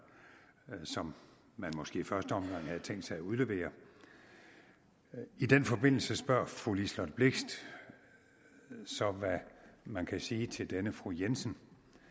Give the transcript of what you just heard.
som man måske i første omgang havde tænkt sig at udlevere i den forbindelse spørger fru liselott blixt hvad man kan sige til denne fru jensen